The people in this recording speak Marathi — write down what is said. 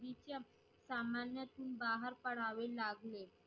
तिच्या सामान्यातून बाहेर पडावे लागले.